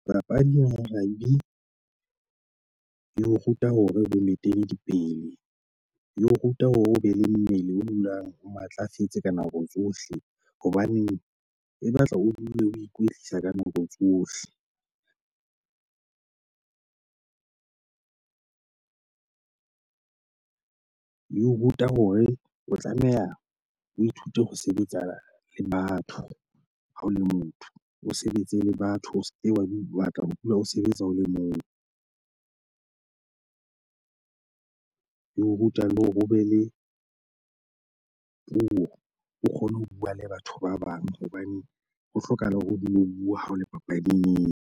Papadi Web e o ruta hore bonnete di pele E o ruta hore o be le mmele o dulang o matlafetse ka nako tsohle. Hobaneng e batla o dule o ikwetlisa ka nako tsohle. E o ruta hore o tlameha o ithute ho sebetsana le batho ha o le motho, o sebetse le batho. O se ke wa batla ho dula o sebetsa o le mong. E o ruta le hore ho be le puo, o kgone ho bua le batho ba bang hobane ho hlokahala hore o dule o bua ha o le papading eo.